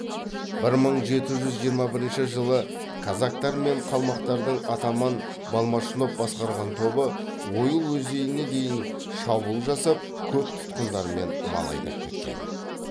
бір мың жеті жүз жиырма бірінші жылы казактар мен қалмақтардың атаман балмашнов басқарған тобы ойыл өзеніне дейін шабуыл жасап көп тұтқындармен мал айдап кеткен